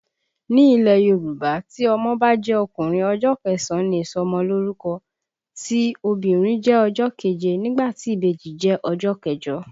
Ní ilẹ̀ Yorùbá, tí ọmọ bá jẹ́ ọkùnrin, ọjọ́ kẹsàn-án ni ìsọmọ lórúkọ, tí obìnrin jẹ́ ọjọ́ keje nígbà tí ìbejì jẹ́ ọjọ́ kẹjọ